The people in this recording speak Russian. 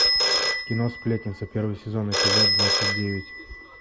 кино сплетница первый сезон эпизод двадцать девять